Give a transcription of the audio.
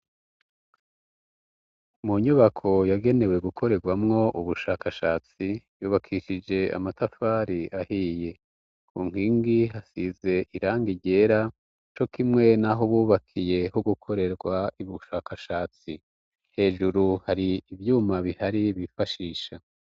Mu nyubako yagenewe gukorerwamwo ubushakashatsi, yubakishije amatafari ahiye, ku nkingi hasize irangi ryera cokimwe naho bubakiye ho gukorerwa ibushakashatsi, hejuru hari ivyuma bihari bifashisha